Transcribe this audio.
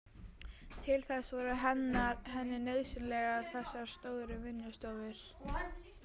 Til þess voru henni nauðsynlegar þessar stóru vinnustofur.